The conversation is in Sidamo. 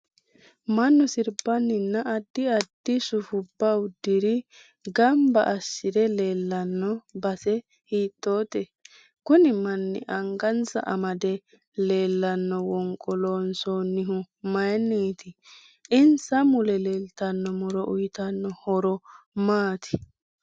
Mannu sirbaninna addi addi sifbbu uduunr ganbba asire leelanno base hiitoote kuni manni angasanni amadde leelanno wonqqo loonsoonihu mayiinioti insa mule leeltanno muro uyiitanno horo maati